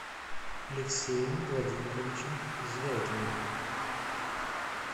алексеем владимировичем звягиным